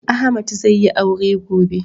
Ahmad zai yi aure gobe